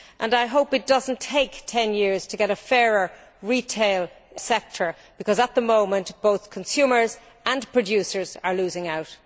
I hope it does not take 10 years to get a fairer retail sector, because at the moment, both consumers and producers are losing out.